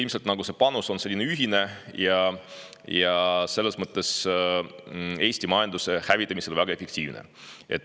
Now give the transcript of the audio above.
Ilmselt on see panus ühine ja Eesti majanduse hävitamisel väga efektiivne.